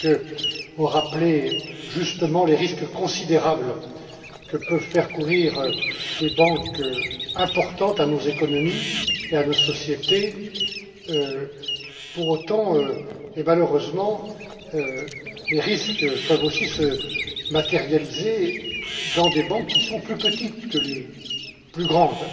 Zemke, ont rappelé justement les risques considérables que peuvent faire courir des banques importantes à nos économies et à nos sociétés. Pour autant, et malheureusement, les risques peuvent aussi se matérialiser dans des banques qui sont plus petites, et pas seulement dans les plus grandes,